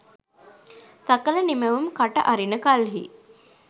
සකල නිමැවුම් කට අරින කල්හි